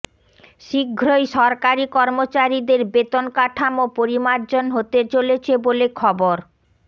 শীঘ্রই সরকারি কর্মচারীদের বেতন কাঠামো পরিমার্জন হতে চলেছে বলে খবর